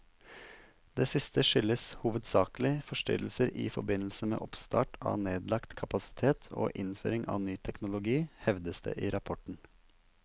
Det siste skyldes hovedsakelig forstyrrelser i forbindelse med oppstart av nedlagt kapasitet og innføring av ny teknologi, hevdes det i rapporten.